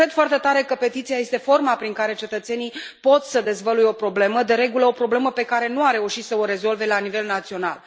Cred foarte tare că petiția este forma prin care cetățenii pot să dezvăluie o problemă, de regulă o problemă pe care nu au reușit să o rezolve la nivel național.